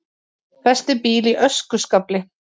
Festi bíl í öskuskafli